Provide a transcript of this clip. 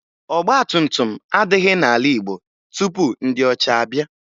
Ọgbatumtum adịghị n'ala Igbo tupu ndị ọcha abịa